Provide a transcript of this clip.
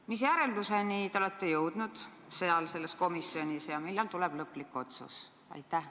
Mis järeldusteni te olete selles komisjonis jõudnud ja millal tuleb lõplik otsus?